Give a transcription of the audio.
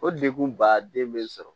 O degun ba den bɛ n sɔrɔ